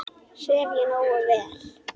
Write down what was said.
Sef ég nógu vel?